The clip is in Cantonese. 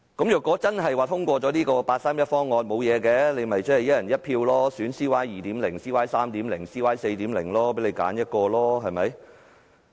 如果真的通過了八三一方案，現在便可以"一人一票"選 "CY 2.0" 或 "CY 3.0" 或 "CY 4.0"， 任君選擇。